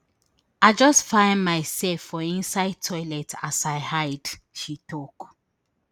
i just find myself for inside toilet as i hide she tok